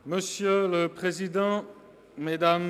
– Das ist der Fall.